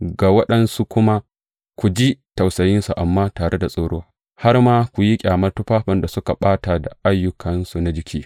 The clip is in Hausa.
Ga waɗansu kuma ku ji tausayinsu, amma tare da tsoro, har ma ku yi ƙyamar tufafin da suka ɓata da ayyukansu na jiki.